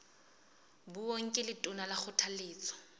beuweng ke letona ka kgothaletso